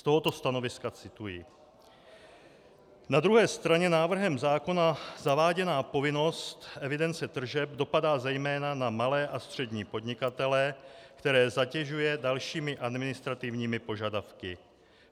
Z tohoto stanoviska cituji: "Na druhé straně návrhem zákona zaváděná povinnost evidence tržeb dopadá zejména na malé a střední podnikatele, které zatěžuje dalšími administrativními požadavky."